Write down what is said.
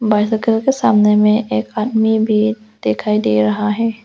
Bicycle के सामने में एक आदमी भी दिखाई दे रहा है।